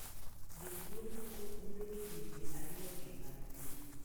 Jotuo moko yudo kidienje ariyogi mag thieth.